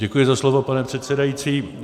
Děkuji za slovo, pane předsedající.